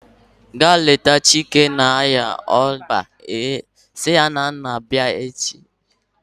Ga leta Chike na-arịa ịba echi! Si ya na m na-ekele